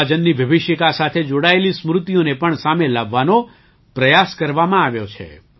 વિભાજનની વિભિષિકા સાથે જોડાયેલી સ્મૃતિઓને પણ સામે લાવવાનો પ્રયાસ કરવામાં આવ્યો છે